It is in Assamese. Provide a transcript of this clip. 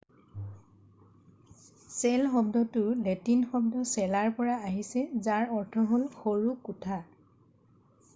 cell শব্দটো লেটিন শব্দ cellaৰ পৰা আহিছে যাৰ অৰ্থ হল সৰু কোঠা।